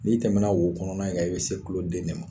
Ni tɛmɛna wo kɔnɔna in kan, i bɛ se tuloden de ma.